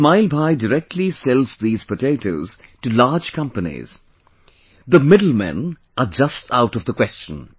Ismail Bhai directly sells these potatoes to large companies, the middle men are just out of the question